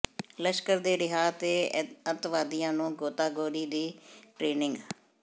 ਲਸ਼ਕਰ ਦੇ ਰਿਹਾ ਹੈ ਅੱਤਵਾਦੀਆਂ ਨੂੰ ਗੋਤਾਗੋਰੀ ਦੀ ਟਰੇਨਿੰਗ